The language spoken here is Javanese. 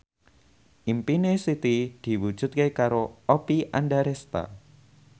impine Siti diwujudke karo Oppie Andaresta